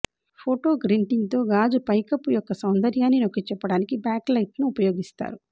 ఫోటోగ్రింటింగ్ తో గాజు పైకప్పు యొక్క సౌందర్యాన్ని నొక్కిచెప్పడానికి బ్యాక్లైట్ను ఉపయోగిస్తారు